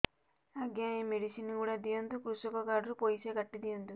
ଆଜ୍ଞା ଏ ମେଡିସିନ ଗୁଡା ଦିଅନ୍ତୁ କୃଷକ କାର୍ଡ ରୁ ପଇସା କାଟିଦିଅନ୍ତୁ